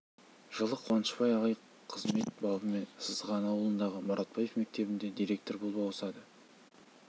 жылы қуанышбай ағай қызмет бабымен сызған аулындағы мұратбаев мектебіне директор болып ауысады